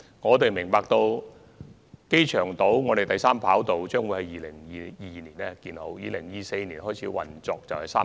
我們明白，機場第三條跑道將於2022年建成，並於2024年開始運作。